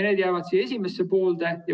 Need jäävad aasta esimesse poolde.